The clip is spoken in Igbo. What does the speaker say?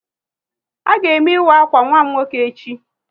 A ga eme ịwa akwa nwa m nwoke echi